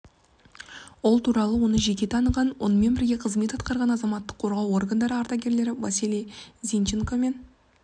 ол туралы оны жеке таныған онымен бірге қызмет атқарған азаматтық қорғау органдары ардагерлері василий зинченко мен